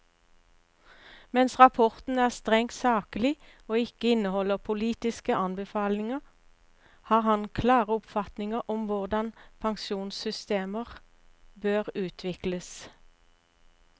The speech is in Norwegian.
Mens rapporten er strengt saklig og ikke inneholder politiske anbefalinger, har han klare oppfatninger om hvordan pensjonssystemer bør utvikles.